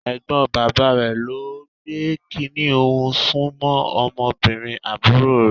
Ẹ̀gbọ́n bàbá rẹ̀ ló ń gbé kiní ọ̀hún sún mọ́ ọmọbìnrin àbúrò rẹ̀.